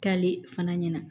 K'ale fana ɲɛna